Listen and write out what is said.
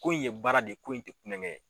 Ko in ye baara de ye ko in tɛ kulonkɛ ye.